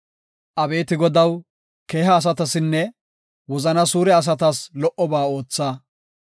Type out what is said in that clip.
Abeeti Godaw, keeha asatasinne wozana suure asatas lo77oba ootha.